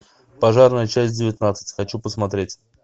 пожарная часть девятнадцать хочу посмотреть